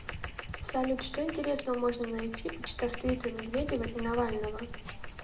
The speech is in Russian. салют что интересного можно найти почитав твиттер медведева и навального